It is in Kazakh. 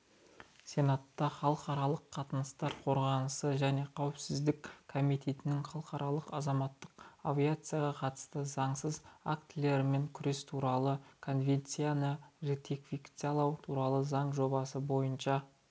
сенатта халықаралық қатынастар қорғаныс және қауіпсіздік комитетінің халықаралық азаматтық авиацияға қатысты заңсыз актілермен күрес туралы конвенцияны ратификациялау туралы заң жобасы бойынша